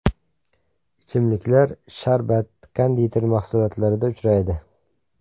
Ichimliklar, sharbat, konditer mahsulotlarida uchraydi.